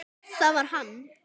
Það var hann!